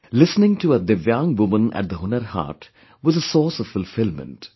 Listening to a divyang woman at the Hunar Haat was a source of fulfillment